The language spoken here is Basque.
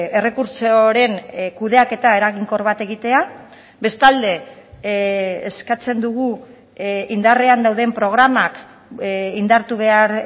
errekurtsoren kudeaketa eraginkor bat egitea bestalde eskatzen dugu indarrean dauden programak indartu behar